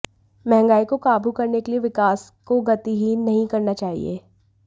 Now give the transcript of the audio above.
महंगाई को काबू करने के लिए विकास को गतिहीन नहीं करना चाहिए